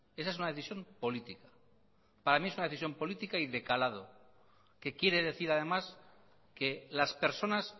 esa es una decisión política para mí es una decisión política y de calado que quiere decir además que las personas